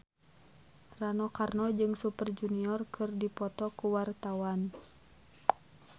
Rano Karno jeung Super Junior keur dipoto ku wartawan